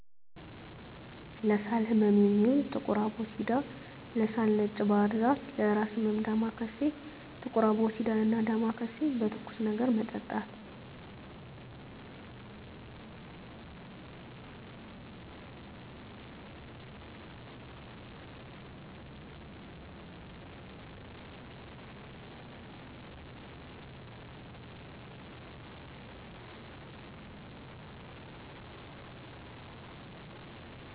ለሳል ህመም የሚውል ጥቁር አቦሲዳ, ለሳል ነጭ ባህርዛፍ ,ለእራስ ህመም ዳማካሴ። ጥቁር አቦሲዳን እና ዳማካሴን በትኩስ ነገር መጠጣት።